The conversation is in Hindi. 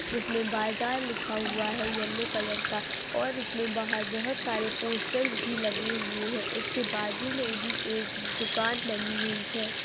इसमें बाजार लिखा हुआ है येलो कलर का और इसके बाहर बहुत सारे पोस्टर्स भी लगे हुए हैं इसके बाजू में भी एक दुकान बनी हुई है।